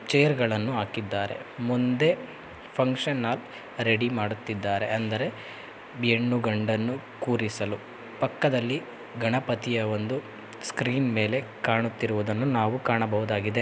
ಚೇರ್ಗಳನ್ನು ಹಾಕಿದ್ದಾರೆ. ಮುಂದೆ function hall ready ಮಾಡುತ್ತಿದ್ದಾರೆ ಅಂದರೆ ಹೆಣ್ಣು ಗಂಡನ್ನು ಕೂರಿಸಲು ಪಕ್ಕದಲ್ಲಿ ಗಣಪತಿಯ ಒಂದು ಸ್ಕ್ರೀನ್ ಮೇಲೆ ಕಾಣುತ್ತಿರುವುದನ್ನು ನಾವು ಕಾಣಬಹುದಾಗಿದೆ .